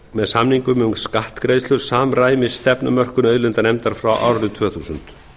með samningum um skattgreiðslur samræmist stefnumörkun auðlindanefndar frá árinu tvö þúsund